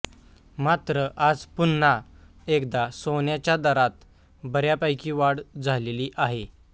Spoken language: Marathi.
मात्र आज पुन्हा एकदा सोन्याच्या दरात बऱ्यापैकी वाढ झालेली आहे